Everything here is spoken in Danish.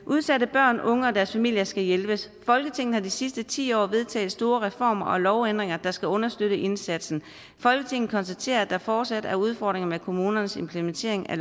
udsatte børn og unge og deres familier skal hjælpes folketinget har de sidste ti år vedtaget store reformer og lovændringer der skal understøtte indsatsen folketinget konstaterer at der fortsat er udfordringer med kommunernes implementering af